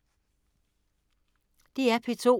DR P2